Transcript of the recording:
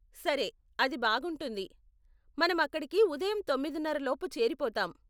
సరే, అది బాగుంటుంది, మనం అక్కడికి ఉదయం తొమ్మిదిన్నర లోపు చేరిపోతాం.